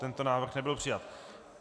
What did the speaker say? Tento návrh nebyl přijat.